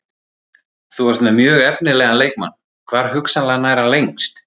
Þú ert með mjög efnilegan leikmann, hvar hugsanlega nær hann lengst?